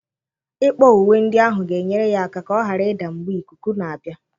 Ịkpọ uwe ndị ahụ ga-enyere ya aka ka ọ ghara ịda mgbe ikuku na-abịa.